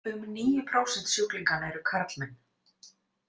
Um níu prósent sjúklinganna eru karlmenn.